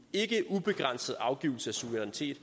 ikke ubegrænset afgivelse af suverænitet